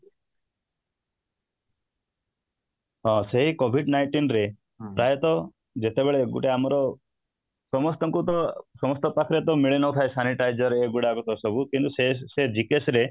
ହଁ, ସେଇ covid nineteen ରେ ପ୍ରାୟତଃ ଯେତେବେଳେ ଗୋଟେ ଆମର ସମସ୍ତଙ୍କୁ ତ ସମସ୍ତଙ୍କ ପାଖରେ ତ ମିଳିନଥାଏ sanitizer ଏଗୁଡ଼ାକ ସବୁ କିନ୍ତୁ ସେ GKS ରେ